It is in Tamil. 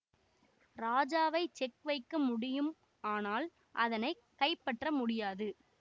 ராஜாவை செக் வைக்க முடியும் ஆனால் அதனை கைப்பற்ற முடியாது